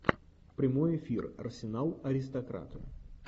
прямой эфир арсенал аристократы